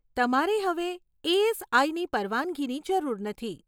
તમારે હવે એએસઆઈની પરવાનગીની જરૂર નથી.